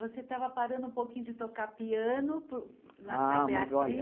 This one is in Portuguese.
Você estava parando um pouquinho de tocar piano, nasceu a Beatriz.